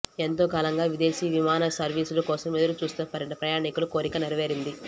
ఎంతో కాలంగా విదేశీవిమానసర్వీసుల కోసం ఎదురు చూస్తున్న ప్రయాణికుల కోరిక నెరవేరింది